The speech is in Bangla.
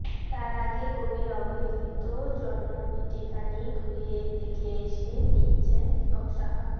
তার আগে কবির অবহেলিত জন্মভিটেখানি ঘুরে দেখে এসে লিখছেন দীপক সাহা